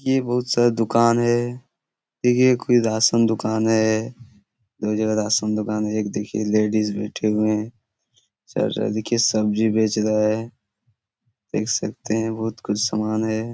यह बहुत सारा दुकान है देखिए ये कोई राशन दुकान है दो जगह राशन दुकान है एक देखिये लेडीज बैठे हुए है चाचा देखिए सब्जी बेच रहा है देख सकते है बहुत कुछ समान है।